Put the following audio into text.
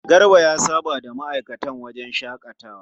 Garba ya saba da ma'aikatan wajen shaƙatawa.